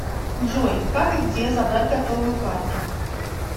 джой как и где забрать готовую карту